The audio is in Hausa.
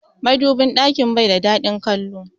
Madubin ɗakin bai da dadin kallo.